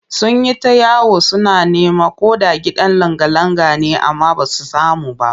Sun yi ta yawo suna neman ko da gidan langa-langa ne amma ba su samu ba